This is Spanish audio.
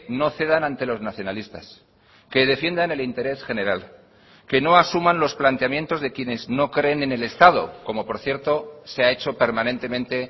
no cedan ante los nacionalistas que defiendan el interés general que no asuman los planteamientos de quienes no creen en el estado como por cierto se ha hecho permanentemente